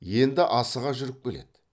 енді асыға жүріп келеді